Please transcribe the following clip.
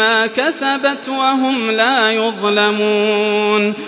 مَّا كَسَبَتْ وَهُمْ لَا يُظْلَمُونَ